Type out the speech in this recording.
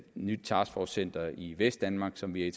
nyt taskforcecenter i vestdanmark som vi